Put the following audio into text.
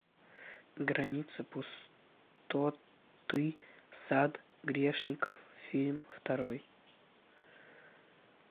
граница пустоты сад грешников фильм второй